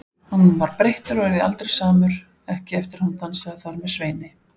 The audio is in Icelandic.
Hann var breyttur og yrði aldrei samur, ekki eftir að hún dansaði þar með Sveini.